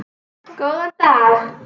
Góðan dag.